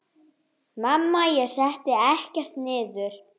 Mamma: Ég setti ekkert niður!